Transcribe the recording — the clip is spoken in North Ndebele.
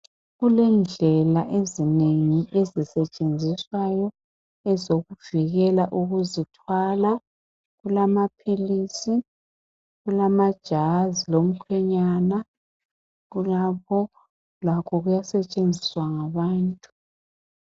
Kulendlela ezinengi ezisetshenziswayo ezokuvikela ukuzithwala. Kulamaphilisi, kulamajazi lomkhwenyana kulabo lakho kuyasetshenziswa ngabantu.